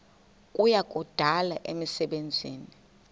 kuya kudala imisebenzi